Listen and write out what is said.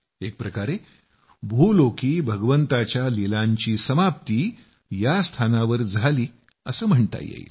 एक प्रकारे भूलोकी भगवंताच्या लीलांची समाप्ती या स्थानावर झाली असं म्हणता येईल